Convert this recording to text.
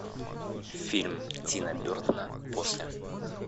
фильм тима бертона после